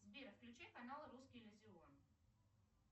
сбер включи канал русский иллюзион